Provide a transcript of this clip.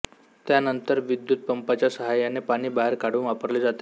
त्यानंतर विद्युत पंपाच्या साहाय्याने पाणी बाहेर काढून वापरले जाते